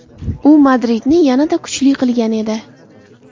U Madridni yanada kuchli qilgan edi.